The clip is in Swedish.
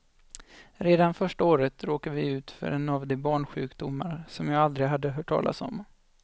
Redan första året råkade vi ut för en av de barnsjukdomar som jag aldrig hade hört talas om.